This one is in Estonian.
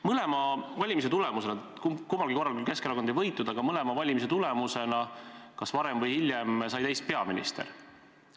Mõlema valimise tulemused olid sellised, et kummalgi korral küll Keskerakond ei võitnud, aga kas varem või hiljem sai teist peaminister.